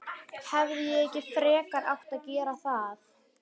Hefði ég ekki frekar átt að gera það?